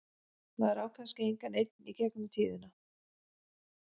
Maður á kannski engan einn í gegnum tíðina.